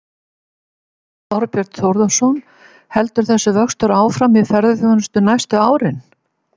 Þorbjörn Þórðarson: Heldur þessi vöxtur áfram í ferðaþjónustunni næstu árin?